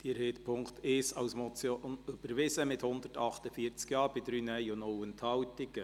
Sie haben den Punkt 1 als Motion überwiesen, mit 148 Ja- bei 3 Nein-Stimmen und 0 Enthaltungen.